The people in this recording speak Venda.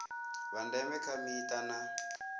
vha ndeme kha mita na